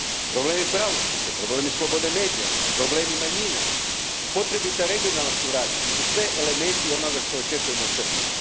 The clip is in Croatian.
Problemi pravosuđa, problemi slobode medija, problemi manjina, potrebita regionalna suradnja su sve elementi onoga što očekujemo od Srbije.